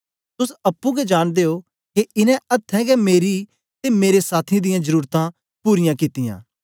तोस अप्पुं गै जांनदे ओ के इनें अथ्थें गै मेरी ते मेरे साथियें दियां जरुरतां पूरायां कित्तियां